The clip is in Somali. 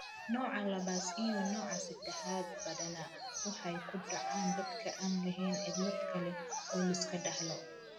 Nooca labaas iyo nooca sedexaad: badanaa waxay ku dhacaan dadka aan lahayn cillad kale oo la iska dhaxlo.